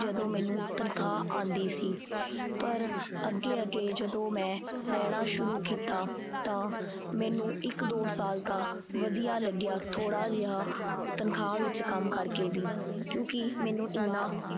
ਜਦੋਂ ਮੈਨੂੰ ਤਨਖਾਹ ਆਉਂਦੀ ਸੀ ਪਰ ਅਗੇ-ਅਗੇ ਜਦੋਂ ਮੈਂ ਰਹਿਣਾ ਸ਼ੁਰੂ ਕੀਤਾ ਤਾਂ ਮੈਨੂੰ ਇਕ ਦੋ ਸਾਲ ਤਾ ਵਧੀਆ ਲੱਗਿਆ ਥੋੜਾ ਜਿਹਾ ਤਨਖਾਹ ਵਿਚ ਕੰਮ ਕਰਕੇ ਵੀ ਕਿਉਂਕਿ ਮੈਨੂੰ ਇੰਨਾ